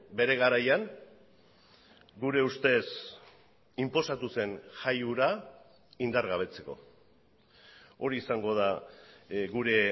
bere garaian gure ustez inposatu zen jai hura indargabetzeko hori izango da gure